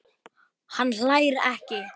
Hann hlær ekki.